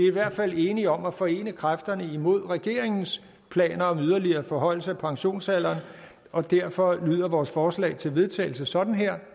i hvert fald enige om at forene kræfterne imod regeringens planer om en yderligere forhøjelse af pensionsalderen og derfor lyder vores forslag til vedtagelse sådan her